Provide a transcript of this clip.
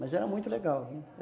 Mas era muito legal, viu